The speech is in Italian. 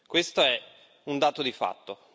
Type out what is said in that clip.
Questo è un dato di fatto.